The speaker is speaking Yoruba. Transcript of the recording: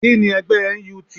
Kíni ẹgbẹ́ NUT?